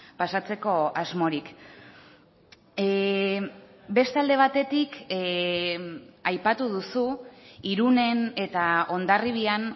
pasatzeko asmorik beste alde batetik aipatu duzu irunen eta hondarribian